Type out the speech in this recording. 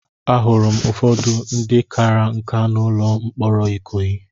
Ahụrụ m ụfọdụ ndị kara nkà n'ụlọ mkpọrọ Ikoyi.